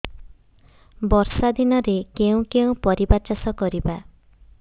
ବର୍ଷା ଦିନରେ କେଉଁ କେଉଁ ପରିବା ଚାଷ କରିବା